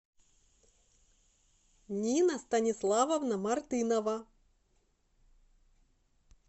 нина станиславовна мартынова